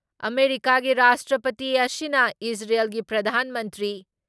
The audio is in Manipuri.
ꯑꯥꯃꯦꯔꯤꯀꯥꯒꯤ ꯔꯥꯁꯇ꯭ꯔꯄꯇꯤ ꯑꯁꯤꯅ ꯏꯖꯔꯦꯜꯒꯤ ꯄ꯭ꯔꯙꯥꯟ ꯃꯟꯇ꯭ꯔꯤ